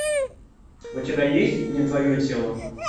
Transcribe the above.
у тебя есть не твое тело